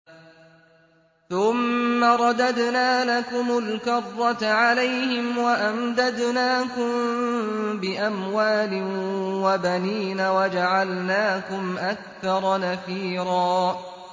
ثُمَّ رَدَدْنَا لَكُمُ الْكَرَّةَ عَلَيْهِمْ وَأَمْدَدْنَاكُم بِأَمْوَالٍ وَبَنِينَ وَجَعَلْنَاكُمْ أَكْثَرَ نَفِيرًا